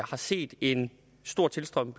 har set en stor tilstrømning